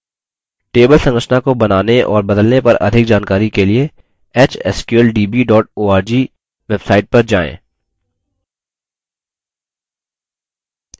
table संरचना को बनाने और बदलने पर अधिक जानकारी के लिए hsqldb org/website पर जाएँ